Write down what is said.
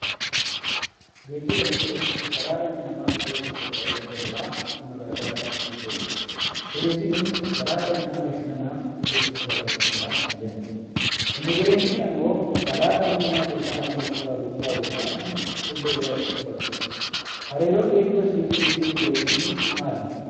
Geejjiba jechuun; karaa ilmi nama iddoo tokkoo ka'e gara iddoo biraa dhimmaa garagaraattif itti sochoo'uudha. turizimiin karaa dhalli namaa bashananaf iddoo tokko irraa gara iddoo biraatti ittin deemuudha. immigireeshiniin ammoo karaa dhalli nama dirqaama iddoo tokko irraa buqqaa'uudhaan iddoo biraa itti qubatudha. Hariroon geejjiba, turizimiifi immigireeshinii maali?